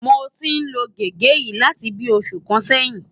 Mo ti ń lo gègé yìí láti bíi oṣù kan sẹ́yìn